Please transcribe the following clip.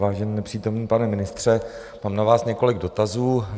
Vážený nepřítomný pane ministře, mám na vás několik dotazů.